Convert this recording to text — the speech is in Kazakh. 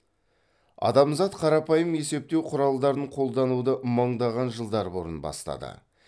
адамзат қарапайым есептеу құралдарын қолдануды мыңдаған жылдар бұрын бастады